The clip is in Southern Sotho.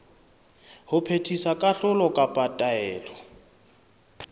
ho phethisa kahlolo kapa taelo